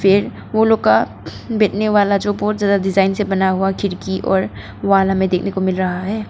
ये वो लोग का डिजाइन से बना हुआ खिड़की और वॉल हमे देखने को मिल रहा है।